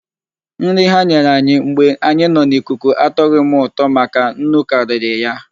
Nri ha nyere anyị mgbe anyị nọ n'ikuku atọgho m ụtọ maka nnu karịrị ya.